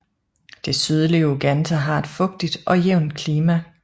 Det sydlige Uganda har et fugtigt og jævnt klima